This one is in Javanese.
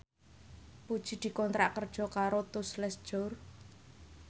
Puji dikontrak kerja karo Tous Les Jour